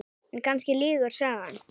En kannski lýgur sagan.